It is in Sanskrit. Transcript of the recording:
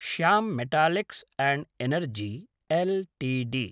Shyam Metallics and Energy Ltd